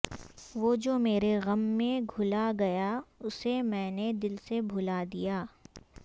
وہ جو میرے غم میں گھلا گیا اسے میں نے دل سے بھلا دیا